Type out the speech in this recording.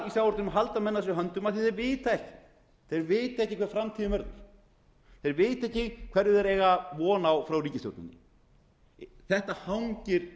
í sjávarútveginum halda menn að sér höndum af því að þeir vita ekki hver framtíðin verður þeir vita ekki hverju þeir eiga von á frá ríkisstjórninni þetta hangir